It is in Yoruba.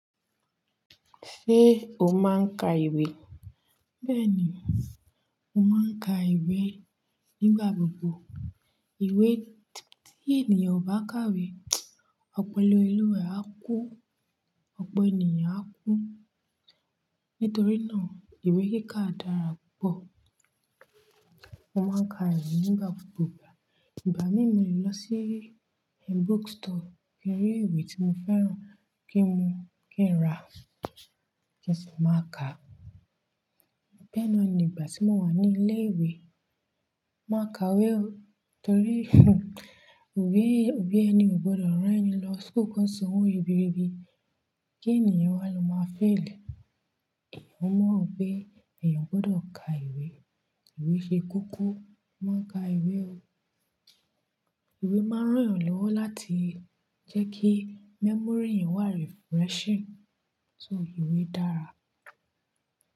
Ṣé o máa ń ka ìwé? Bẹ́ẹ̀ ni, mo máa ń ka ìwé nígbà gbogbo. Ìwé tí ènìyàn ò bá kàwé, ọpọlọ olúwa rẹ̀ á kú, ọpọ ènìyàn á kú. Nítorí náà ìwé kíká dára púpọ̀. Mo máa ń ka ìwé nígbà gbogbo. Ìgbà míi lè lọ sí book store, kí n rí ìwé tí mo fẹ́ràn kí n mu, kí n rà, kí n sì máa ka. Bẹ́ẹ̀ náà ni ìgbà tí mo wà ní ilé ìwé, màá ka ìwé o. Nítorí òbi, òbi ẹni ò gbọdọ̀ rán ẹni lọ́ sukù kí wọ́n san òwo ribirbi, kí ènìyàn wá lọ máa fail. Eeyán ọmọ pé, ẹ̀yàn gbọdọ̀ ka ìwé. Ìwé ṣe kókó, mo màá n ka ìwé o. Ìwé máa ń rán ẹ̀yàn lọ́wọ́ láti jẹ́ kí memory eyan o wà refreshing. So ìwé dára.